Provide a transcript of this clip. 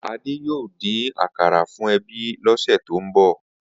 Ade yoo din-din akara fun ebi tókàn ose.